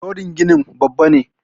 Rodin ginin Babba ne